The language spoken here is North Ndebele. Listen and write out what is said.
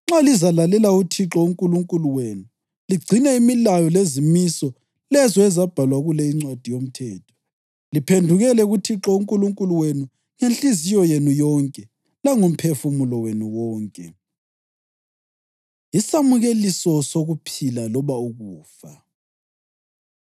nxa lizalalela uThixo uNkulunkulu wenu ligcine imilayo lezimiso lezo ezabhalwa kule iNcwadi yoMthetho liphendukele kuThixo uNkulunkulu wenu ngenhliziyo yenu yonke langomphefumulo wenu wonke.” Isamukeliso Sokuphila Loba Ukufa